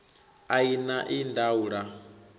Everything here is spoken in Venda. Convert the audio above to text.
a i na ii ndaula